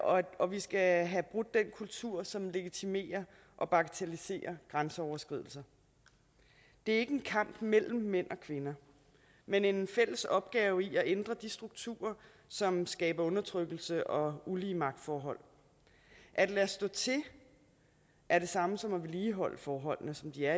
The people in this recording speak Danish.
og vi skal have brudt den kultur som legitimerer og bagatelliserer grænseoverskridelser det er ikke en kamp mellem mænd og kvinder men en fælles opgave i at ændre de strukturer som skaber undertrykkelse og ulige magtforhold at lade stå til er det samme som at vedligeholde forholdene som de er